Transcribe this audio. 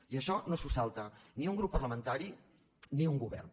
i això no s’ho salta ni un grup parlamentari ni un govern